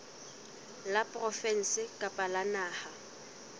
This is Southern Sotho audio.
la provinse kapa la naha